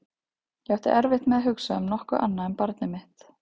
Ég átti erfitt með að hugsa um nokkuð annað en barnið mitt.